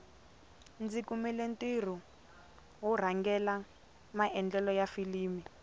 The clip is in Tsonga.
ndzi kumile ntirho wo rhangela maendlelo ya filimi